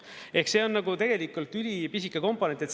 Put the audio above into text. Ehk see on tegelikult ülipisike komponent.